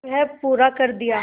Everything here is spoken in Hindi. वह पूरा कर दिया